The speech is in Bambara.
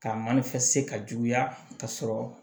Ka mana ka juguya ka sɔrɔ